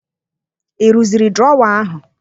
Ị rụziri drọwaa ahụ?